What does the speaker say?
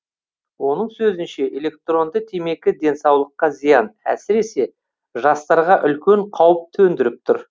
оның сөзінше электронды темекі денсаулыққа зиян әсіресе жастарға үлкен қауіп төндіріп тұр